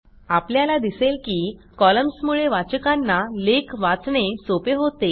आपल्याला दिसेल की कॉलम्समुळे वाचकांना लेख वाचणे सोपे होते